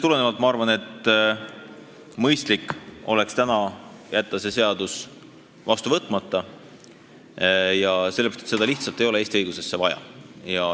Ma arvan, et mõistlik oleks jätta täna see seadus vastu võtmata, sellepärast et seda lihtsalt ei ole Eesti õigusesse vaja.